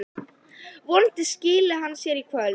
Vonandi skili hann sér í kvöld.